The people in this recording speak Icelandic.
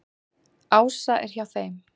Ása er hjá þeim.